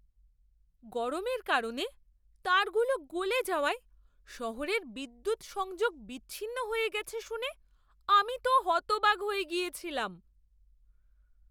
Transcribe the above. গরমের কারণে তারগুলো গলে যাওয়ায় শহরের বিদ্যুৎ সংযোগ বিচ্ছিন্ন হয়ে গেছে শুনে আমি তো হতবাক হয়ে গিয়েছিলাম!